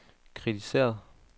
kritiseret